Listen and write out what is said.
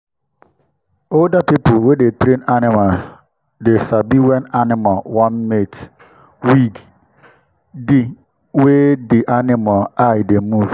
older people wey dey train animals dey sabi when animal wan mate wig di wey di animal eye dey move.